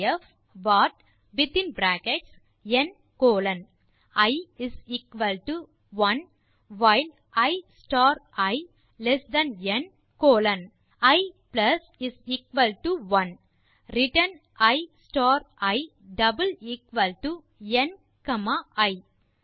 def what within bracket n colon i 1 while i star i less than n colon i 1 return i star i n comma i fast state இலிருந்து திரும்பலாம்